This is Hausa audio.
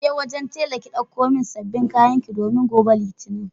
Kije wajen tela ki dauko sabbin kayanki domin gobe litinin.